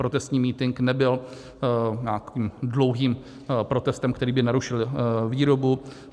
Protestní mítink nebyl nijak dlouhým protestem, který by narušil výrobu.